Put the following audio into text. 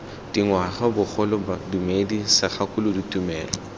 dingwaga bogole bodumedi segakolodi tumelo